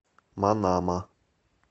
манама